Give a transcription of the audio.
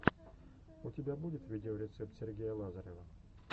у тебя будет видеорецепт сергея лазарева